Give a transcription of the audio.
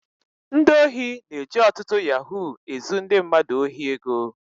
Ndị ohi na-eji ọtụtụ yahoo ezu ndị mmadụ ohi ego